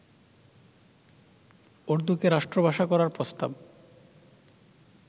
উর্দুকে রাষ্ট্রভাষা করার প্রস্তাব